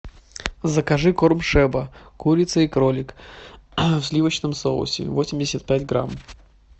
закажи корм шеба курица и кролик в сливочном соусе восемьдесят пять грамм